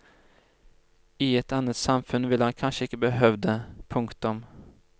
I et annet samfunn ville han kanskje ikke behøvd det. punktum